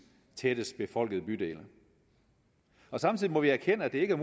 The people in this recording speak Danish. tættest befolkede bydele samtidig må vi erkende at det ikke er